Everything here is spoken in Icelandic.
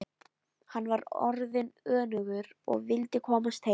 Hann var orðinn önugur og vildi komast heim.